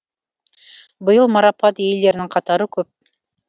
биыл марапат иелеренің қатары көп